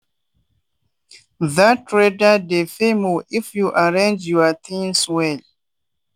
that trader dey pay more if you arrange your things well.